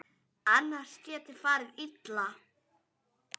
Annars geti farið illa.